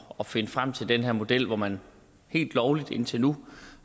at finde frem til den her model hvor man helt lovligt indtil nu